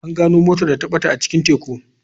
An gano motar da ta bata a cikin teku.